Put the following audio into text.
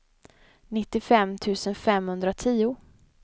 nittiofem tusen femhundratio